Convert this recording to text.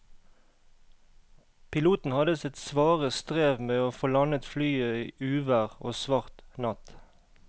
Piloten hadde sitt svare strev med å få landet flyet i uvær og svart natt.